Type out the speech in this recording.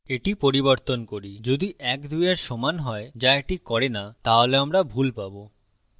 এটি পরিবর্তন করি যদি ১ ২এর সমান হয় যা এটি করে না তাহলে আমরা ভুল পাবো